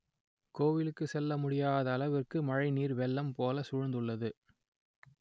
கோ‌விலு‌க்கு‌ செ‌ல்ல முடியாத அள‌வி‌ற்கு மழை ‌‌நீ‌ர் வெ‌ள்ள‌ம் போல சூழ்ந்து‌ள்ளது